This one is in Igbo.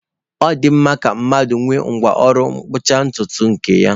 Ọ dị mma ka mmadụ nwee ngwá ọrụ mgbochi ntutu nke ya.